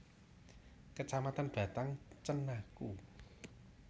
Kecamatan Batang Cenaku